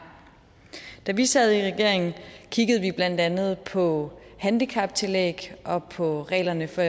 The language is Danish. da vi sad i regering kiggede vi blandt andet på handicaptillæg og på reglerne for